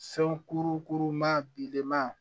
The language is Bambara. Sankurukuruma bilenman